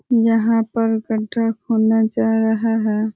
यहाँ पर गड्ढा खोना जा रहा है।